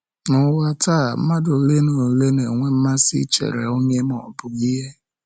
Na ụwa taa, mmadụ ole na ole na-enwe mmasị ichere onye ma ọ bụ ihe. ihe.